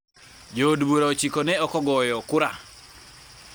Jood bura ochiko ne ok ogoyo kura.